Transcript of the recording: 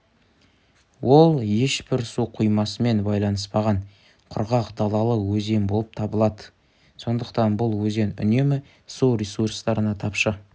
ол ешбір су қоймасымен байланыспаған құрғақ далалы өзен болып табылады сондықтан бұл өзен үнемі су ресурстарына тапшы